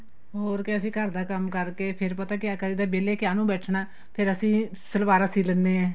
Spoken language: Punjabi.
ਹੋਰ ਕੀ ਅਸੀਂ ਘਰ ਦਾ ਕੰਮ ਕਰਕੇ ਫੇਰ ਪਤਾ ਕਿਆ ਕਰੀ ਦਾ ਵੇਲੇ ਕਿਆ ਨੂੰ ਬੈਠਣਾ ਫੇਰ ਅਸੀਂ ਸਲਵਾਰਾ ਸੀ ਲੈਂਨੇ ਆ